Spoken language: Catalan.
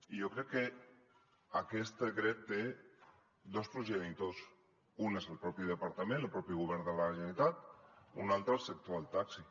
i jo crec que aquest decret té dos progenitors un és el propi departament el propi govern de la generalitat un altre el sector del taxi